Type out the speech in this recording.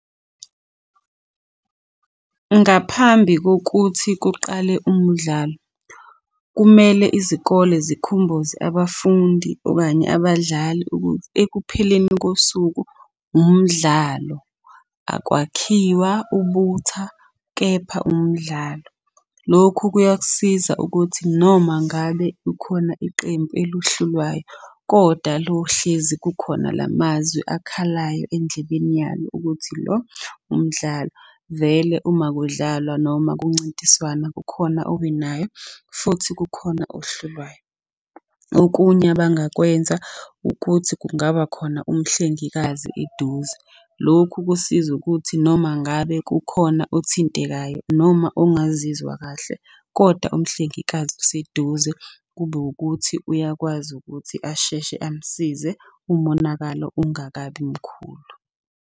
Ngaphambi kokuthi kuqale umdlalo, kumele izikole zimkhumbuze abafundi okanye abadlali ukuthi ekupheleni kosuku umdlalo, akwakhiwa ubutha, kepha umdlalo. Lokhu kuyakusiza ukuthi noma ngabe kukhona iqembu eluhlulwayo, kodwa lohlezi kukhona la mazwi akhalayo endlebeni yalo ukuthi lo umdlalo. Vele uma kudlalwa noma kuncintiswana kukhona owinayo futhi kukhona ohlulwayo. Okunye abangakwenza ukuthi kungaba khona umhlengikazi eduze. Lokhu kusiza ukuthi noma ngabe kukhona othintekayo noma ongazizwa kahle kodwa umhlengikazi useduze, kube wukuthi uyakwazi ukuthi asheshe amsize umonakalo ungakabi mkhulu.